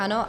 Ano.